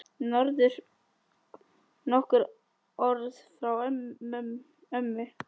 Nokkur orð frá ömmu.